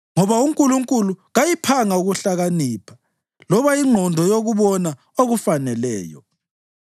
ngoba uNkulunkulu kayiphanga ukuhlakanipha loba ingqondo yokubona okufaneleyo.